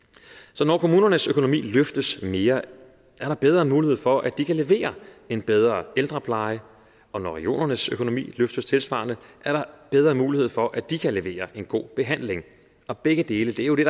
så når kommunernes økonomi løftes mere er der bedre mulighed for at de kan levere en bedre ældrepleje og når regionernes økonomi løftes tilsvarende er der bedre mulighed for at de kan levere en god behandling og begge dele er jo det